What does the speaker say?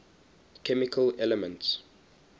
chemical elements